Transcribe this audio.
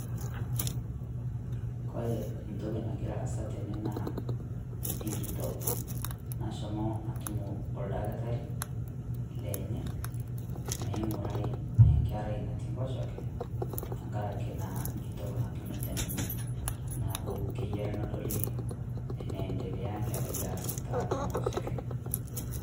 Kore entoki nagira aasa tene naa enkitok nashomo atumo oldakitari lenye meing'urai enkerai natii enkoshoke tenkaraki naa nkitok natunute ninye neaku keyiore nedoli eneendelea nkerai aas tiatua nkoshoke.